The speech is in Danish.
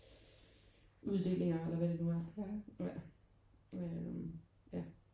Uddelinger eller hvad det nu er ja øh ja